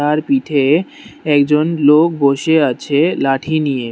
তার পিঠে একজন লোক বসে আছে লাঠি নিয়ে।